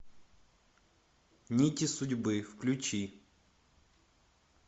нити судьбы включи